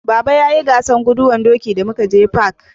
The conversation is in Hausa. Baba ya yi gasar guduwan doki da mu ka je fak